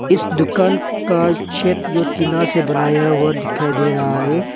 इस दुकान का छत जो टीना से बनाया हुआ दिखाई दे रहा है।